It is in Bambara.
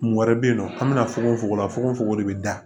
Kun wɛrɛ bɛ yen nɔ an bɛna fogofogo la fogofogo de bɛ da